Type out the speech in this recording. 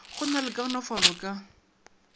go na le kaonafalo ka